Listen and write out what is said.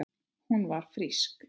Hún var frísk.